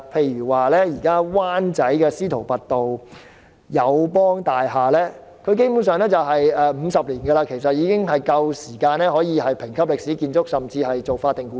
以灣仔司徒拔道的友邦大廈為例，大廈落成50年，基本上已可獲評級為歷史建築甚至是法定古蹟。